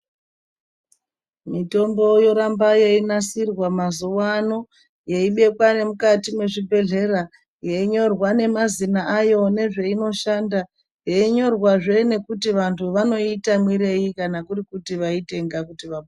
Mitombo yoramba yeinasirwa mazuwa ano yeibekwa nemukati mwezvibhedhlera yeinyorwa Nemazina ayo nezve inoshanda yeinyorwazve nekuti vantu vanoiita mwirei kana kuri kuti vaitenga kuti vapo.